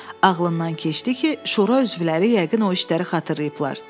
Ağlından keçdi ki, şura üzvləri yəqin o işləri xatırlayıblar.